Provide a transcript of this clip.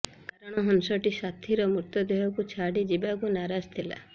କାରଣ ହଂସଟି ସାଥିର ମୃତଦେହକୁ ଛାଡ଼ି ଯିବାକୁ ନାରାଜ ଥିଲା